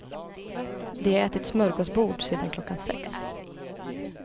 De har ätit smörgåsbord sedan klockan sex.